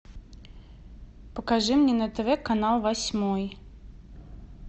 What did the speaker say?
покажи мне на тв канал восьмой